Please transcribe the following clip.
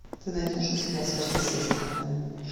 ты найдешь у себя сверхъестественное